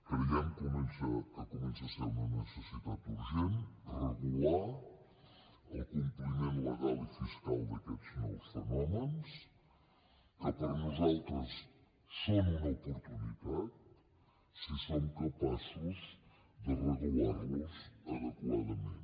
creiem que comença a ser una necessitat urgent regular el compliment legal i fiscal d’aquests nous fenòmens que per nosaltres són una oportunitat si som capaços de regular los adequadament